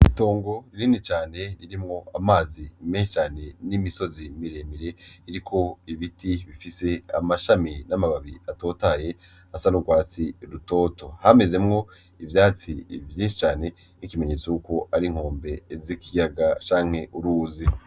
Itongo rinini cane ririmwo amazi menshi n'imisozi miremire iriko ibiti bifise amashami n'amababi atotahaye asa n'urwatsi rutoto hamezemwo ivyatsi vyinshi cane nkikimenyetso cuko ari inkombe z'ikiyaga canke uruzi.